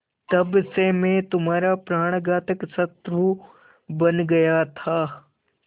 तब से मैं तुम्हारा प्राणघातक शत्रु बन गया था